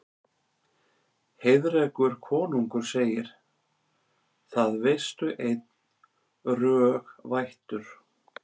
Heiðrekur konungur segir: Það veistu einn, rög vættur